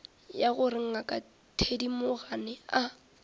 ya gore ngaka thedimogane a